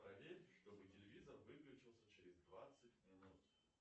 проверь чтобы телевизор выключился через двадцать минут